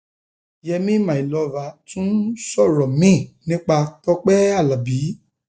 yemi my lover tún sọrọ miín nípa tọpẹ alábí